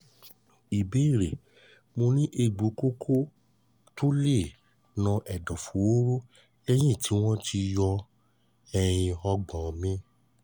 ìbéèrè: mo ni egbo koko to le no edoforo leyin ti won yo ehin ehin ogbon mi